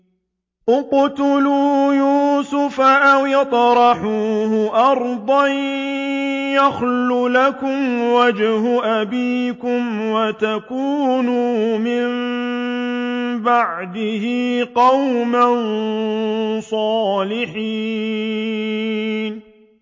اقْتُلُوا يُوسُفَ أَوِ اطْرَحُوهُ أَرْضًا يَخْلُ لَكُمْ وَجْهُ أَبِيكُمْ وَتَكُونُوا مِن بَعْدِهِ قَوْمًا صَالِحِينَ